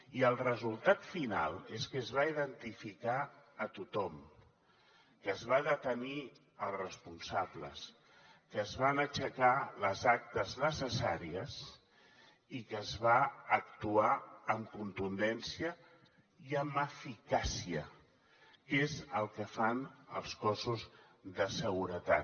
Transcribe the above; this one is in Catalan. i el resultat final és que es va identificar tothom que es van detenir els responsables que es van aixecar les actes necessàries i que es va actuar amb contundència i amb eficàcia que és el que fan els cossos de seguretat